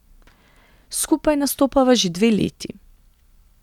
Skupaj nastopava že dve leti.